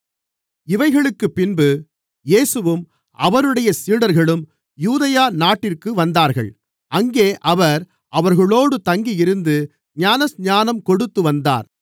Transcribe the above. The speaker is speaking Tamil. இவைகளுக்குப் பின்பு இயேசுவும் அவருடைய சீடர்களும் யூதேயா நாட்டிற்கு வந்தார்கள் அங்கே அவர் அவர்களோடு தங்கியிருந்து ஞானஸ்நானம் கொடுத்து வந்தார்